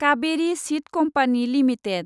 Kaveri seed company limited